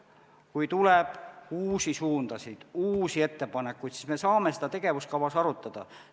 Kui tuleb uusi suundasid, uusi ettepanekuid, siis me saame seda tegevuskava jaoks arutada.